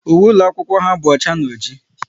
Uwe ụlọ akwụkwọ ha bụ ọcha na ọjị